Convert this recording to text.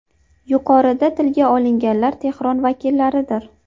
Yuqorida tilga olinganlar Tehron vakillaridir.